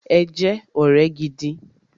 Ẹ jẹ́ ọ̀rẹ́ gidi!